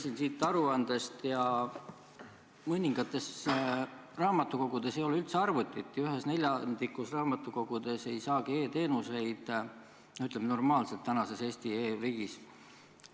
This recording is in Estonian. Lugesin siit aruandest, et mõningates raamatukogudes ei ole üldse arvutit ja ühes neljandikus raamatukogudest ei saagi e-teenuseid praeguses Eesti e-riigis normaalselt.